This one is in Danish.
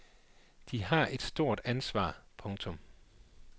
De har et stort ansvar. punktum